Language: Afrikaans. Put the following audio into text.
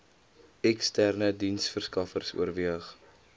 eksterne diensteverskaffers oorweeg